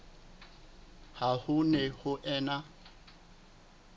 ha ho ne ho ena